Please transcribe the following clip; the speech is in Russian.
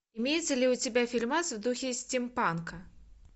имеется ли у тебя фильмас в духе стим панка